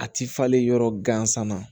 A ti falen yɔrɔ gansan na